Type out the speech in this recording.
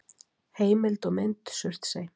Heimild og mynd: Surtsey.